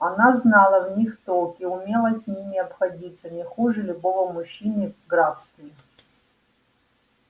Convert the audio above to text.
она знала в них толк и умела с ними обходиться не хуже любого мужчины в графстве